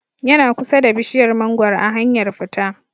Yana kusa da bishiyar mangoro a hanyar fita